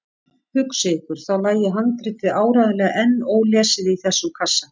Hugsið ykkur, þá lægi handritið áreiðanlega enn ólesið í þessum kassa!